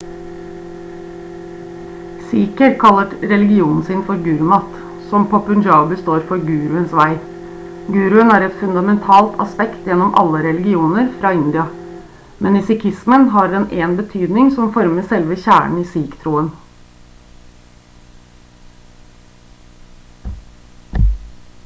sikher kaller religionen sin for gurmat som på punjabi står for «guruens vei». guruen er et fundamentalt aspekt gjennom alle religioner fra india men i sikhismen har den en betydning som former selve kjernen i sikh-troen